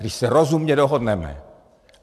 Když se rozumně dohodneme.